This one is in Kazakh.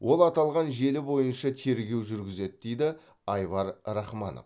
ол аталған желі бойынша тергеу жүргізеді дейді айвар рахманов